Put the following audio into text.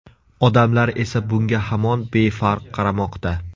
Odamlar esa bunga hamon befarq qaramoqda.